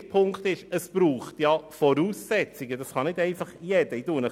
Der dritte Punkt ist, dass es Voraussetzungen braucht und das nicht einfach jedermann tun kann.